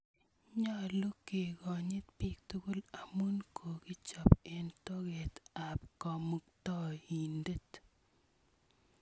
Nyalu kekonyit piik tukul amun kokichop eng' toket ap Kamuktaindet.